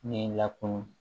Ne lakunun